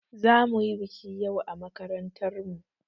Za mu yi baƙi yau a makarantar mu.